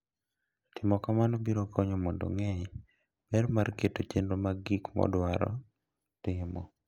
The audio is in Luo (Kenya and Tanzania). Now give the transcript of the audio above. Timo kamano biro konye mondo ong'e ber mar keto chenro mag gik modwaro timo.